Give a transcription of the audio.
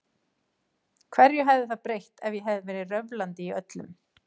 Hverju hefði það breytt ef ég hefði verið röflandi í öllum?